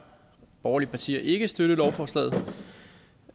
borgerlige partier ikke støtte lovforslaget